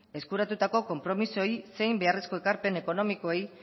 eskuratutako konpromisoei zein beharrezko ekarpen ekonomikoei